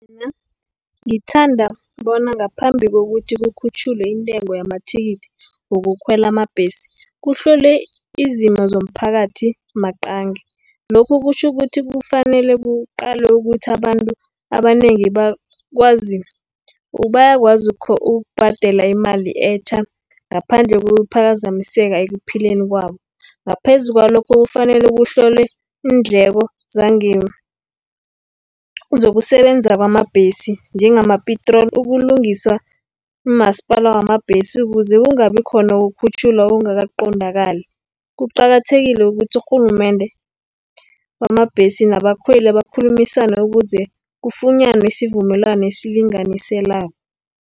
Mina ngithanda bona ngaphambi kokuthi kukhutjhulwe intengo yamathikithi wokukhwela amabhesi, kuhlolwe izimo zomphakathi maqangi. Lokhu kutjho ukuthi, kufanele kuqalwe ukuthi abantu abanengi bayakwazi ukubhadela imali etjha, ngaphandle kokuphazamiseka ekuphileni kwabo. Ngaphezu kwalokho kufanele kuhlolwe iindleko zokusebenza Kwamabhesi njengamapitroli, ukulungiswa, umasipala wamabhesi, ukuze kungabi khona ukukhutjhulwa okungaka qondakali. Kuqakathekile ukuthi urhulumende bamabhesi nabakhweli, bakhulumisane ukuze kufunyanwe isivumelwano esilinganiselwako.